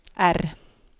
R